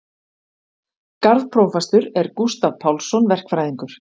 Garðprófastur er Gústav Pálsson verkfræðingur.